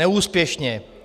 Neúspěšně.